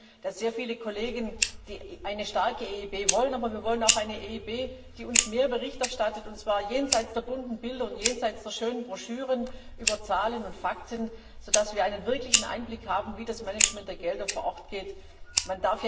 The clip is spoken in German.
Wir sehen, dass viele Kollegen eine starke EIB wollen. Aber wir wollen auch eine EIB, die uns mehr Bericht erstattet, und zwar jenseits der bunten Bilder und schönen Broschüren über Zahlen und Fakten, so dass wir einen wirklichen Einblick haben, wie das Management der Gelder vor Ort vor sich geht.